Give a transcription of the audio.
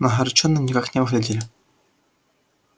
но огорчёнными никак не выглядели